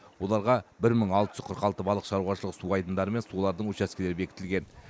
оларға бір мың алты жүз қырық алты балық шаруашылығы су айдындары мен олардың учаскелері бекітілген